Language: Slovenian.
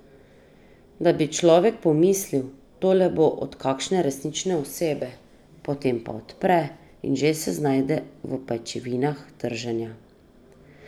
Da bi človek pomislil, tole bo pa od kakšne resnične osebe, potem pa odpre, in že se znajde v pajčevinah trženja.